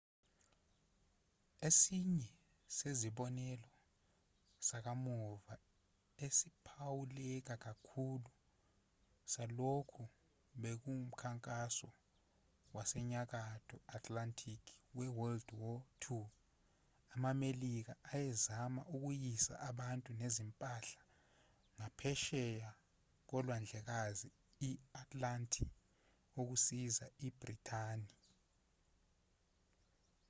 esinye sezibonelo sakamuva esiphawuleka kakhulu salokhu bekuwumkhankaso wasenyakatho atlantic wewwii amamelika ayezama ukuyisa abantu nezimpahla ngaphesheya kolwandlekazi i-atlanti ukusiza ibhrithani